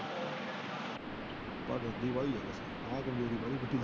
ਮੈ ਸਬਜ਼ੀ ਲਾਇ ।